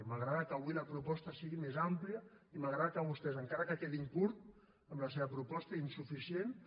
m’agrada que avui la proposta sigui més àmplia i m’agrada que vostès encara que quedin curts en la seva proposta i insuficients